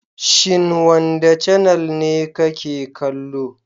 Shin wanda canel ne ka ke kallo?